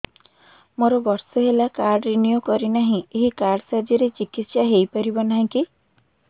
ମୋର ବର୍ଷେ ହେଲା କାର୍ଡ ରିନିଓ କରିନାହିଁ ଏହି କାର୍ଡ ସାହାଯ୍ୟରେ ଚିକିସୟା ହୈ ପାରିବନାହିଁ କି